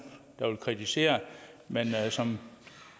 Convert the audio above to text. der vil kritisere men som